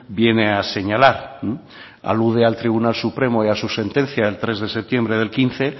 viene a señalar alude al tribunal supremo y a su sentencia del tres de septiembre del quince